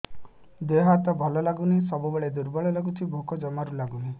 ଦେହ ହାତ ଭଲ ଲାଗୁନି ସବୁବେଳେ ଦୁର୍ବଳ ଲାଗୁଛି ଭୋକ ଜମାରୁ ଲାଗୁନି